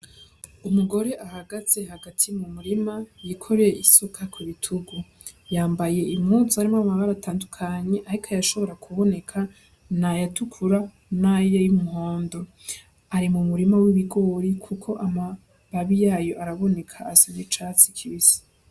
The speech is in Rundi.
Umugore ahagaze hagati mu murima yikoreye isuka ku bitugu, yambaye impuzu harimwo amabara atandukanye ariko ayashobora kuboneka n'ayatukura, n'ayumuhondo, ari mu murima w'ibigori kuko amababi yayo araboneka asa n'icatsi kibisi.